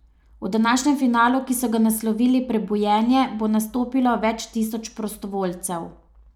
V današnjem finalu, ki so ga naslovili Prebujenje, bo nastopilo več tisoč prostovoljcev.